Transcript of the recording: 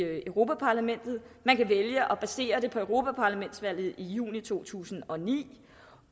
europa parlamentet man vælge at basere det på europaparlamentsvalget i juni to tusind og ni